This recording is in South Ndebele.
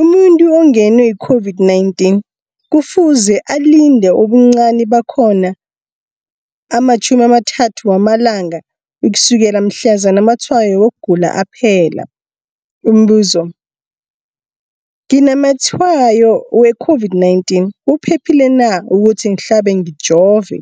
Umuntu ongenwe yi-COVID-19 kufuze alinde ubuncani bakhona ama-30 wama langa ukusukela mhlazana amatshayo wokugula aphela. Umbuzo, nginamatshayo we-COVID-19, kuphephile na ukuthi ngihlabe, ngijove?